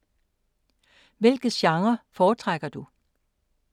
Hvilke genrer foretrækker du?